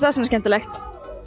það svona skemmtilegt